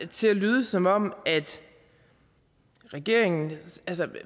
til at lyde som om regeringen